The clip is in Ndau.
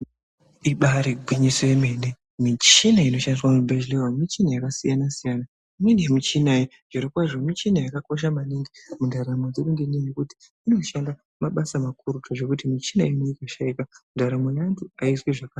Ibari gwinyiso yemene michina inoshandiswa muzvibhedhleya umu michina yakasiyana-siyana. Imweni yemichina iyi zvirokwazvo michina yakakosha maningi mundaramo dzedu. Ngenyaya yekuti inoshanda mabasa makuru zvekuti muchina inoiyi ikashaika ndaramo yeantu haizwi zvakanaka.